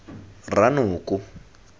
ranoko